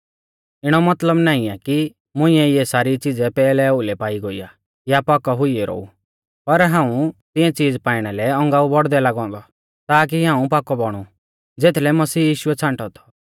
इणौ मतलब नाईं आ कि मुंइऐ इऐ सारी च़िज़ै पैहलै ओउलै पाई गोई आ या पाकौ हुई ऐरौ ऊ पर हाऊं तिऐं च़ीज़ पाइणा लै औगांऊ बौड़दै लागौ औन्दौ ताकी हाऊं पाकौ बौणु ज़ेथलै मसीह यीशुऐ छ़ांटौ थौ